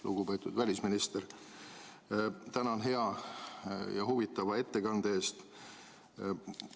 Lugupeetud välisminister, tänan hea ja huvitava ettekande eest!